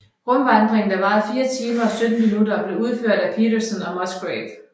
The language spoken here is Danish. Rumvandringen der varede 4 timer og 17 minutter blev udført af Peterson og Musgrave